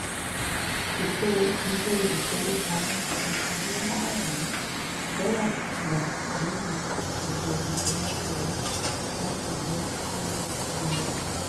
ètò ilé-ifowopamọ́ fi owó márùn-ún dọ́là gba lórí gbogbo ìfiránṣẹ́ owó láti dín owó ìròyìn kù